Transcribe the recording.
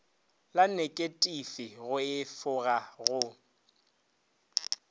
la neketifi go efoga go